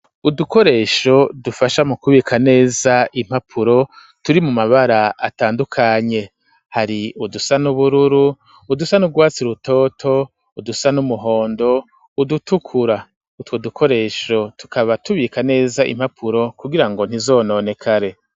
Udukoresho dufasha mu kubika neza impapuro turi mu mabara atandukanye hari udusa n'ubururu udusa n'ugwatsi rutoto udusa n'umuhondo udutukura utwo dukoresho tukaba tubika neza impapuro kugirango ntizononekare.